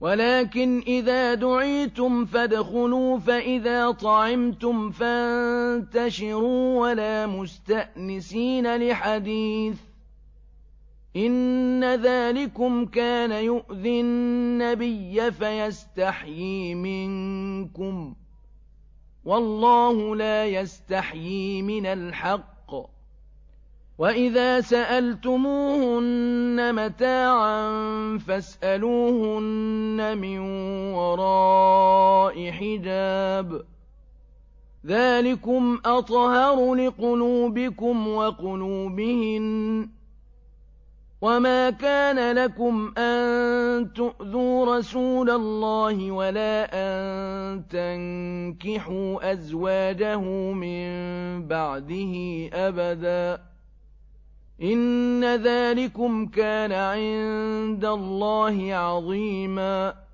وَلَٰكِنْ إِذَا دُعِيتُمْ فَادْخُلُوا فَإِذَا طَعِمْتُمْ فَانتَشِرُوا وَلَا مُسْتَأْنِسِينَ لِحَدِيثٍ ۚ إِنَّ ذَٰلِكُمْ كَانَ يُؤْذِي النَّبِيَّ فَيَسْتَحْيِي مِنكُمْ ۖ وَاللَّهُ لَا يَسْتَحْيِي مِنَ الْحَقِّ ۚ وَإِذَا سَأَلْتُمُوهُنَّ مَتَاعًا فَاسْأَلُوهُنَّ مِن وَرَاءِ حِجَابٍ ۚ ذَٰلِكُمْ أَطْهَرُ لِقُلُوبِكُمْ وَقُلُوبِهِنَّ ۚ وَمَا كَانَ لَكُمْ أَن تُؤْذُوا رَسُولَ اللَّهِ وَلَا أَن تَنكِحُوا أَزْوَاجَهُ مِن بَعْدِهِ أَبَدًا ۚ إِنَّ ذَٰلِكُمْ كَانَ عِندَ اللَّهِ عَظِيمًا